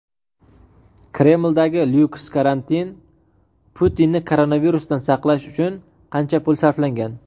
Kremldagi lyuks karantin: Putinni koronavirusdan saqlash uchun qancha pul sarflangan?.